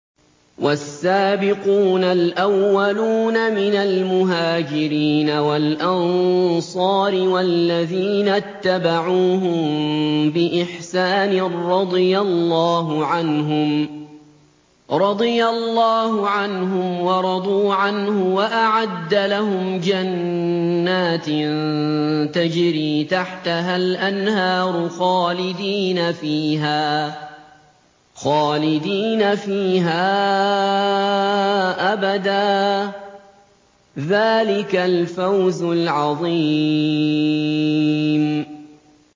وَالسَّابِقُونَ الْأَوَّلُونَ مِنَ الْمُهَاجِرِينَ وَالْأَنصَارِ وَالَّذِينَ اتَّبَعُوهُم بِإِحْسَانٍ رَّضِيَ اللَّهُ عَنْهُمْ وَرَضُوا عَنْهُ وَأَعَدَّ لَهُمْ جَنَّاتٍ تَجْرِي تَحْتَهَا الْأَنْهَارُ خَالِدِينَ فِيهَا أَبَدًا ۚ ذَٰلِكَ الْفَوْزُ الْعَظِيمُ